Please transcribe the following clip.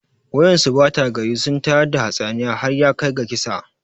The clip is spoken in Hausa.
Wa'yansu ɓata gari sun tayar da hatsaniyar har yakai ga kisa